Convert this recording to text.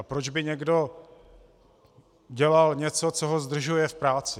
A proč by někdo dělal něco, co ho zdržuje v práci?